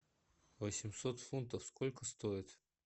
восемьсот фунтов сколько стоит